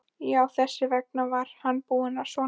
Já, þess vegna var hann búinn svona seint.